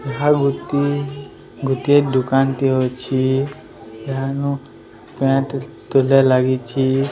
ଗୋଟିଏ ଗୋଟିଏ ଦୋକାନଟେ ଅଛି ପେନ ପେଣ୍ଟ ଲାଗିଛି।